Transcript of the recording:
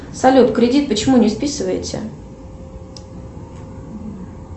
салют кредит почему не списываете